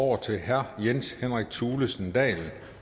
over til herre jens henrik thulesen dahl